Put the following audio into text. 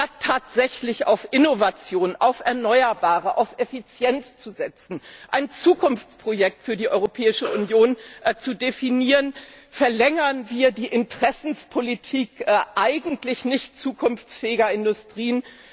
Statt tatsächlich auf Innovation, auf erneuerbare Energien, auf Effizienz zu setzen und ein Zukunftsprojekt für die Europäische Union zu definieren, verlängern wir die Interessenspolitik eigentlich nicht zukunftsfähiger Industrien.